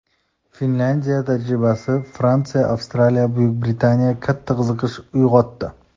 Finlyandiya tajribasi Fransiya, Avstraliya, Buyuk Britaniyada katta qiziqish uyg‘otdi.